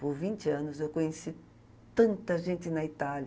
Por vinte anos eu conheci tanta gente na Itália.